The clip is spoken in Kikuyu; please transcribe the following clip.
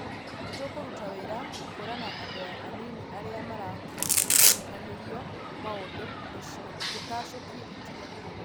Nĩtũkũruta wĩra gũkũrana andũa anini arĩa marakuruhanirio maũndũinĩ na tũtacũkie ikinya irũrũ